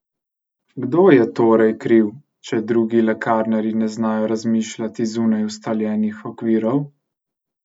Kdo je torej kriv, če drugi lekarnarji ne znajo razmišljati zunaj ustaljenih okvirov?